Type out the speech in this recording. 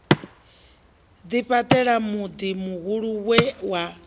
ḓifhaṱela muḓi muhulu we wa